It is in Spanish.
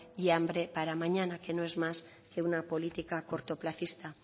y hambre para mañana que no es más que una política cortoplacista